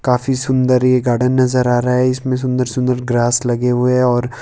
काफी सुंदर ये गार्डन नजर आ रहा है इसमें सुंदर सुंदर ग्रास लगे हुए है और--